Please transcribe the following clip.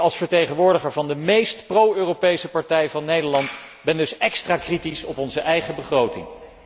Ik, als vertegenwoordiger van de meest pro Europese partij van Nederland, ben dus extra kritisch op onze eigen begroting.